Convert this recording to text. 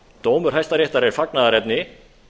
dómur hæstaréttar er fagnaðarefni